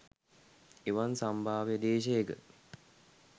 එවන් සම්භාව්‍ය දේශයක